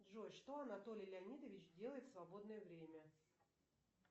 джой что анатолий леонидович делает в свободное время